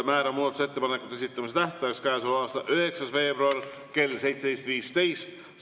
Määran muudatusettepanekute esitamise tähtajaks käesoleva aasta 9. veebruari kell 17.15.